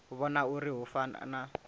vhona uri hu fana na